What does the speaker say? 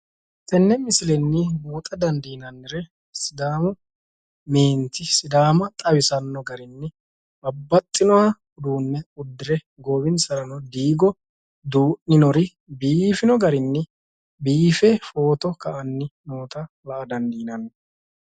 Tenne misilenni buuxa dandiinannnire sidaamu meenti sidaama xawisanno garinni babbaxxinoha uduunne uddire goowinsarano diigo duu'ninori biifino garinni biife footo ka"anni noota la"a dandiinanni.